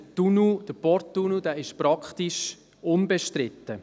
Der Porttunnel ist praktisch unbestritten.